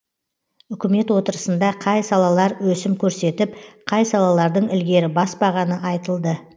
үкімет отырысында қай салалар өсім көрсетіп қай салалардың ілгері баспағаны айтылды